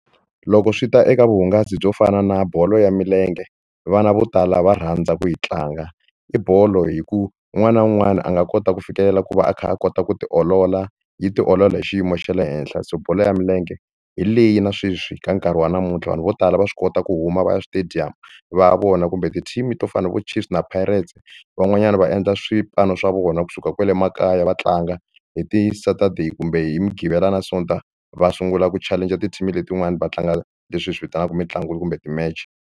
Loko swi ta eka vuhungasi byo fana na bolo ya milenge vana vo tala va rhandza ku yi tlanga i bolo hi ku un'wana na un'wana a nga kota ku fikelela ku va a kha a kota ku tiolola yi tiolola hi xiyimo xa le henhla se bolo ya milenge hi leyi na sweswi ka nkarhi wa namuntlha vanhu vo tala va swi kota ku huma va ya stadium va ya vona kumbe ti-team to fana na vo Chiefs na Pirates van'wanyana va endla swipano swa vona kusuka kwale makaya va tlanga hi ti-Saturday kumbe hi mudqivela na sonta va sungula ku challenge-a ti-team letin'wani va tlanga leswi hi swi vitanaka mitlangu kumbe ti-match.